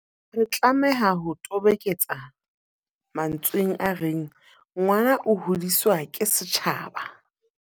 Re tlameha ho toboketsa mantsweng a reng, ngwana o hodiswa ke setjhaba.